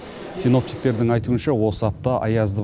синоптиктердің айтуынша осы апта аязды